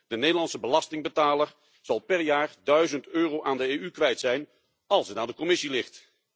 De Nederlandse belastingbetaler zal per jaar 1000 euro aan de EU kwijt zijn als het aan de Commissie ligt.